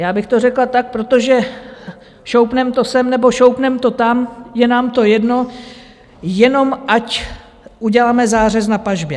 Já bych to řekla tak: Protože šoupnem to sem nebo šoupnem to tam, je nám to jedno, jenom ať uděláme zářez na pažbě.